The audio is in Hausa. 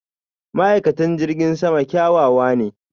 ma'aikatan jirgin sama kyawawa ne.